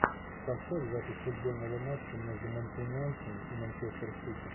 поставь запись футбольного матча между манкунианцами и манчестер сити